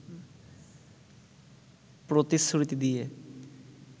প্রতিশ্রুতি দিয়ে